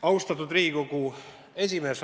Austatud Riigikogu esimees!